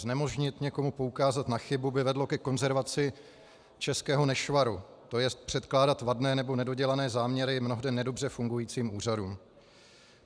Znemožnit někomu poukázat na chybu by vedlo ke konzervaci českého nešvaru, to jest předkládat vadné nebo nedodělané záměry mnohde nedobře fungujícím úřadům.